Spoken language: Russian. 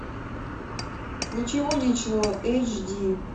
ничего личного эйч ди